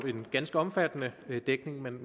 en ganske omfattende dækning man